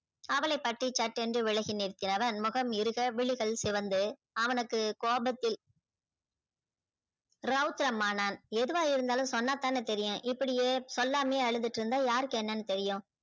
அவளை பற்றி சட் என்று விலகி முகம் இருக விழிகள் சிவந்து அவனுக்கு கோபத்தில ரௌதிரம் ஆனான் எதுவா இருந்தாலும் சொன்னாதான தெரியும் இப்படியே சொல்லாமையே அழுதுட்டு இருந்தா யார்க்கு என்னனு தெரியும்